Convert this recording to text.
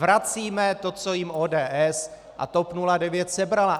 Vracíme to, co jim ODS a TOP 09 sebraly.